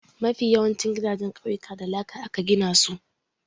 Mafi yawancin gidajen ƙauyuka da laka aka gina su.